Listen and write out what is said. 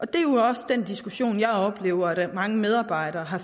det er jo også den diskussion jeg oplever at mange medarbejdere har